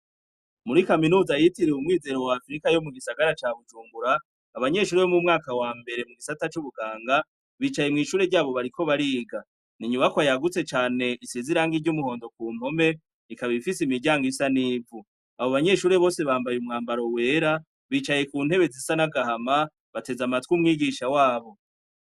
Muri kaminuza yitiriwe "umwizero wa Afrika" yo mu gisagara ca Bujumbura, abanyeshure bo mu mwaka wa mbere mu gisata c'ubuganga bicaye mw'ishure ryabo bariko bariga. Ni inyubakwa yagutse cane isize irangi ry'umuhondo ku mpome, ikaba ifise imiryango isa n'ivu. Abo banyeshure bose bambaye umwambaro wera, bicaye ku ntebe zisa n'agahama, bateze amatwi umwigisha wabo.